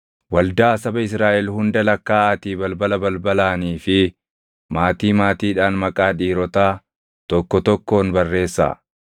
“Waldaa saba Israaʼel hunda lakkaaʼaatii balbala balbalaanii fi maatii maatiidhaan maqaa dhiirotaa tokko tokkoon barreessaa.